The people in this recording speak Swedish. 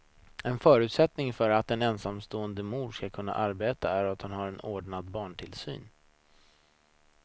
En förutsättning för att en ensamstående mor ska kunna arbeta är att hon har ordnad barntillsyn.